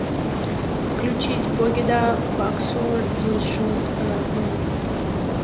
включить богида баксор дилшод рахмонов